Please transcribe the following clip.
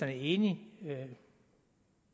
er enig